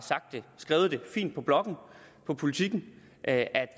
skrevet det fint på bloggen på politiken at